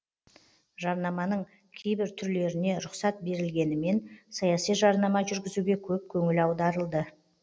жарнаманың кейбір түрлеріне рұқсат берілмегенімен саяси жарнама жүргізуге көп көңіл аударылды